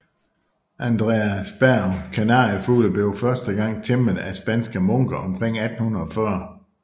Andreasberg Kanariefugle blev første gang tæmmet af spanske munke omkring 1480